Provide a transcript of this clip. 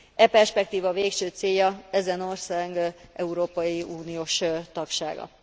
E perspektíva végső célja ezen ország európai uniós tagsága.